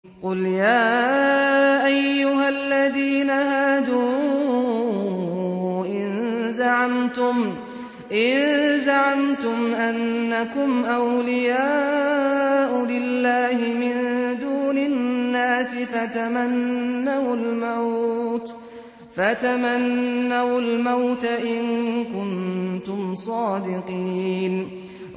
قُلْ يَا أَيُّهَا الَّذِينَ هَادُوا إِن زَعَمْتُمْ أَنَّكُمْ أَوْلِيَاءُ لِلَّهِ مِن دُونِ النَّاسِ فَتَمَنَّوُا الْمَوْتَ إِن كُنتُمْ صَادِقِينَ